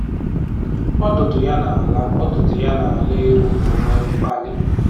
Ọdụdụ ya na-ala Ọdụdụ ya na-ala elu ma o nwee mkpali